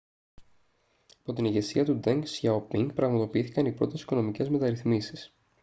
yπό την ηγεσία του ντενγκ σιαοπίνγκ πραγματοποιήθηκαν oι πρώτες οικονομικές μεταρρυθμίσεις